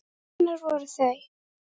Hvenær voru þau?